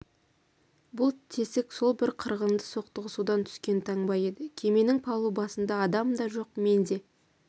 бұл тесік сол бір қырғынды соқтығысудан түскен таңба еді кеменің палубасында адам да жоқ мен де